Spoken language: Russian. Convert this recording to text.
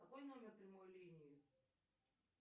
какой номер прямой линии